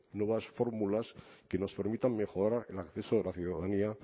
nuevas fórmulas que nos permitan mejorar el acceso de la ciudadanía